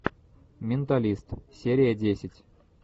менталист серия десять